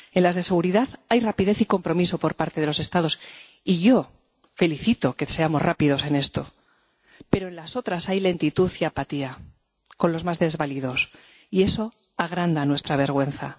En las de seguridad hay rapidez y compromiso por parte de los Estados —y yo me congratulo de que seamos rápidos en esto—, pero en las otras hay lentitud y apatía con los más desvalidos, y eso agranda nuestra vergüenza.